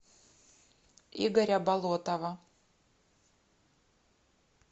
игоря болотова